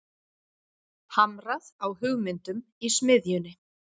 Hamrað á hugmyndum í smiðjunni